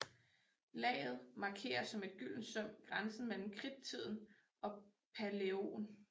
Laget markerer som et gyldent søm grænsen mellem Kridttiden og Palæogen